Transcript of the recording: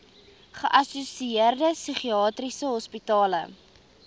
geassosieerde psigiatriese hospitale